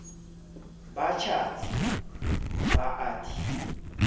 ba tjhatsi ba a di